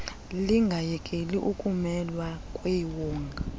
lingayekeli ukumelwa kwiwonga